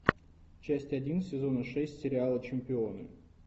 часть один сезона шесть сериала чемпионы